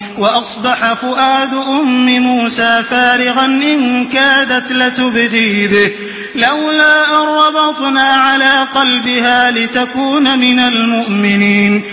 وَأَصْبَحَ فُؤَادُ أُمِّ مُوسَىٰ فَارِغًا ۖ إِن كَادَتْ لَتُبْدِي بِهِ لَوْلَا أَن رَّبَطْنَا عَلَىٰ قَلْبِهَا لِتَكُونَ مِنَ الْمُؤْمِنِينَ